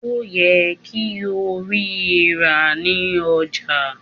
Ó yẹ kí o rí i rà ní ọjà